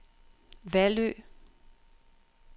Vallø